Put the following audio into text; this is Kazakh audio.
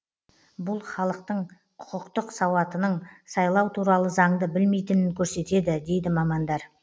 бұл халықтың құқықтық сауатының сайлау туралы заңды білмейтінін көрсетеді дейді мамандар